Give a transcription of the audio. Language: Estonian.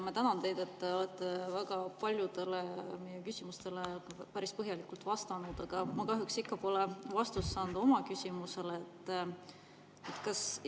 Ma tänan teid, et te olete väga paljudele meie küsimustele päris põhjalikult vastanud, aga ma kahjuks pole oma küsimusele ikka vastust saanud.